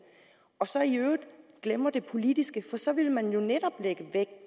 og så i øvrigt glemmer det politiske for så vil man jo netop lægge vægt